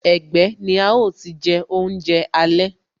Ẹgbẹ́ ni a ó ti je oúnjẹ alẹ́